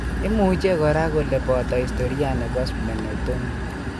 Imuche kora kole boto historia nebo splenectomy